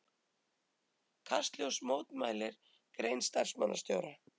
Kastljós mótmælir grein starfsmannastjóra